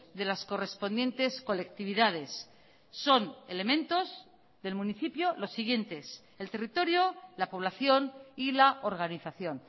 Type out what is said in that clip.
de las correspondientes colectividades son elementos del municipio los siguientes el territorio la población y la organización